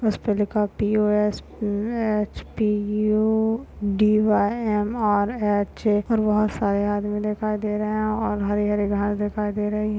उसपे लिखा हुआ पी_ओ_एस_पी_एच_पी_ई_ओ_डी_वाय_एम_आर_एच और वहाँ सारे आदमी दिखाई दे रहे है और हरी हरी घास दिखाई दे रही।